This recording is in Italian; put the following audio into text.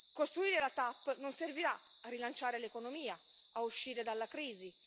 Costruire la TAP non servirà a rilanciare l'economia, a uscire dalla crisi.